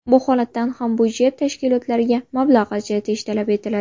Bu holatda ham budjet tashkilotlariga mablag‘ ajratish talab etiladi.